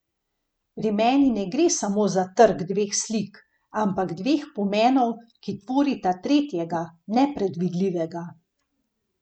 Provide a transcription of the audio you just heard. Pri meni ne gre samo za trk dveh slik, ampak dveh pomenov, ki tvorita tretjega, nepredvidljivega.